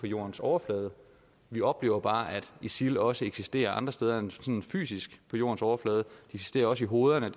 jordens overflade vi oplever bare at isil også eksisterer andre steder end sådan fysisk på jordens overflade de eksisterer også i hovederne